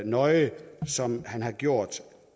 nøje som han har gjort